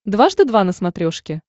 дважды два на смотрешке